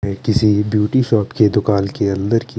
ये किसी ब्यूटी शोर्ट के दूकान के अन्दर की--